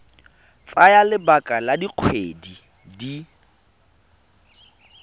tsaya lebaka la dikgwedi di